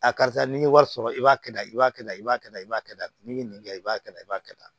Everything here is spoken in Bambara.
A karisa n'i ye wari sɔrɔ i b'a kɛ tan i b'a kɛ tan i b'a kɛ tan i b'a kɛ tan ni kɛ i b'a kɛ tan i b'a kɛ tan